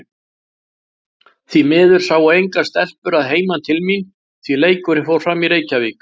Því miður sáu engar stelpur að heiman til mín, því leikurinn fór fram í Reykjavík.